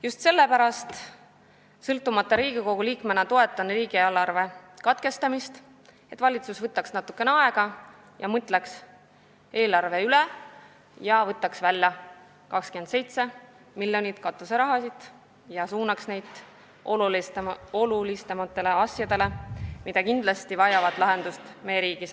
Just sellepärast ma toetan Riigikogu sõltumatu liikmena riigieelarve seaduse eelnõu lugemise katkestamist, et valitsus võtaks natukene aega, mõtleks eelarve üle ja võtaks sellest välja 27 miljonit katuseraha ja suunaks need summad olulisemate probleemide lahendamiseks.